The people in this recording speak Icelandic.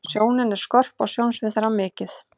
Sjónin er skörp og sjónsvið þeirra mikið.